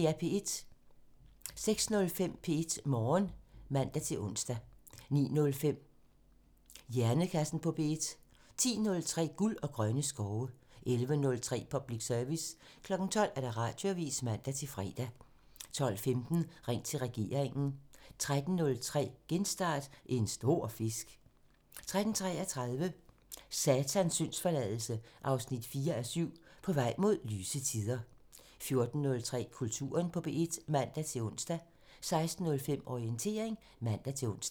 06:05: P1 Morgen (man-ons) 09:05: Hjernekassen på P1 10:03: Guld og grønne skove 11:03: Public Service 12:00: Radioavisen (man-søn) 12:15: Ring til regeringen 13:03: Genstart: En stor fisk 13:33: Satans syndsforladelse 4:7 – På vej mod lyse tider 14:03: Kulturen på P1 (man-ons) 16:05: Orientering (man-ons)